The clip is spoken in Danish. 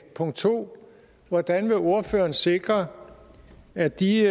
punkt to hvordan ordføreren vil sikre at de